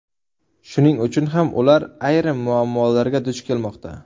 Shuning uchun ham ular ayrim muammolarga duch kelmoqda.